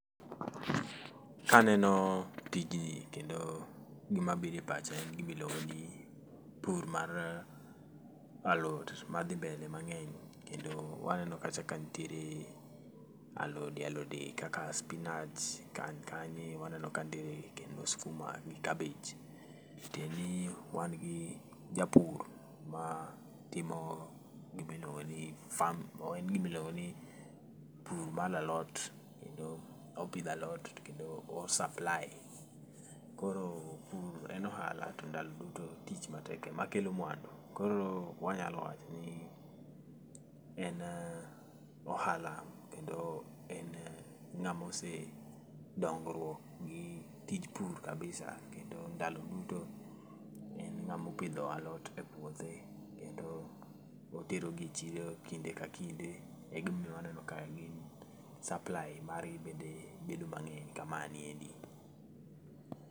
Kaneno tijni kendo gima biro e pacha en gima ilongoni pur mar alot madhi mbele mangeny kendo waneno kacha ka nitiere alode alode kaka spinach, kanyo waneno ka nitiere skuma gi cabbage, tiende ni wan gi japur ma timo gima iluongo ni farm, en gima iluongoni pur mar alot kendo opidho alot to kendo o supply. Koro pur en ohala to ndalo duto tich matek ema kelo mwandu ,koro wanyalo wachoni en ohala kendo en ngamo osedongruok gi tij pur kabisa kendo ndalo duto en ngamo opidho alot e puothe kendo oterogi e chiro kinde ka kinde egima omiyo waneno ka gin supply margi bedo mangeny kama niendi